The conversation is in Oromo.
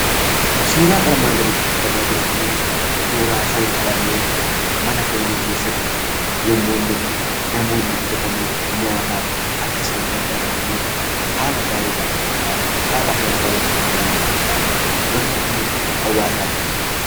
Suuraan armaan gaditti argama jiru kun, suuraa foon qalamee mana foonii keessatti namoonni bitatanii nyaataaf akka isaan gargaaramaniif, haala gaariidhaan qophaayee haala nama hawwatuu danda'uun qophaayee yemmuu inni hawaasaaf dhiyaateedha.